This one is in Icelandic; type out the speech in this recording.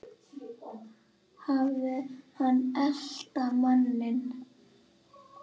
Hafði hann elt manninn eða?